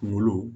Kungolo